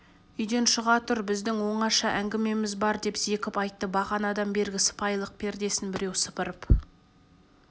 үйден шыға тұр біздің оңаша әңгімеміз бар деп зекіп айтты бағанадан бергі сыпайылық пердесін біреу сыпырып